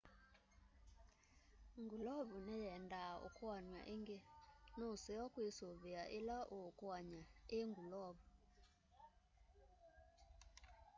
ngulovu nĩyendaa ukuanw'a ingĩ nuseo kwisuvia ila uukuany'a i ngulovu